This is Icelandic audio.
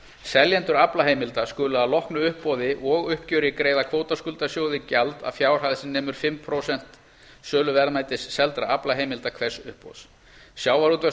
seljendur aflaheimilda skulu að loknu uppboði og uppgjöri greiða kvótaskuldasjóði gjald að fjárhæð sem nemur fimm prósent söluverðmætis seldra aflaheimilda hvers uppboðs sjávarútvegs